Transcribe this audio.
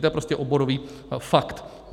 To je prostě oborový fakt.